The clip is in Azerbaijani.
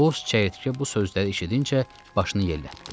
Boz çəyirtkə bu sözləri eşidincə başını yellətdi.